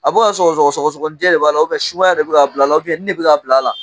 A bɛ ka sɔgɔsɔgɔ sɔgɔsɔgɔninjɛ de b'a la, sumaya de bɛ k'a bil'a la, ni de bɛ k'a bil' la.